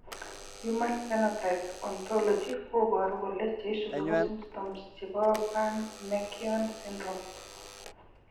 Human phenotype ontology koboru kole cheisubi ko symptoms chebo burn mckeown syndrome